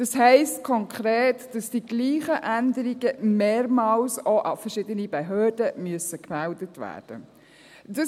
Das heisst konkret, dass die gleichen Änderungen mehrmals auch verschiedenen Behörden gemeldet werden müssen.